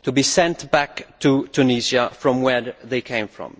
They should be sent back to Tunisia where they came from.